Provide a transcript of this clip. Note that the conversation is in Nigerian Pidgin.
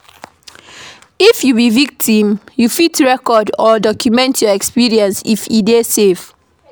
If you be victim, you fit record or document your experience if e dey safe